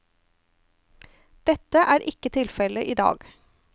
Dette er ikke tilfelle i dag.